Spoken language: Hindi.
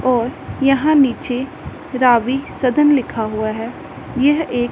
और यहां नीचे रावी सदन लिखा हुआ है यह एक--